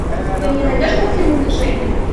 ты мне найдешь картину унижение